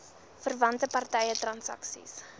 verwante party transaksies